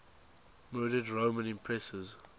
murdered roman empresses